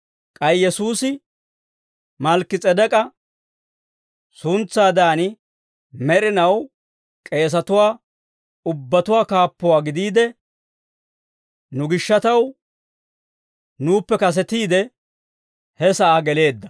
K'ay Yesuusi Malkki-S'edek'k'a suntsatetsaadan, med'inaw k'eesatuwaa ubbatuwaa kaappuwaa gidiide, nu gishshataw nuuppe kasetiide, he sa'aa geleedda.